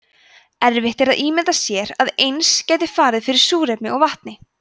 erfitt er að ímynda sér að eins gæti farið fyrir súrefni og vatni